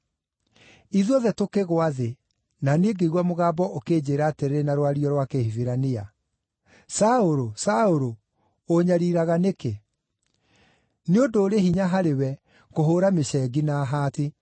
Ithuothe tũkĩgũa thĩ, na niĩ ngĩigua mũgambo ũkĩnjĩĩra atĩrĩ na rwario rwa Kĩhibirania, ‘Saũlũ, Saũlũ, ũũnyariiraga nĩkĩ? Nĩ ũndũ ũrĩ hinya harĩwe kũhũũra mĩcengi na haati.’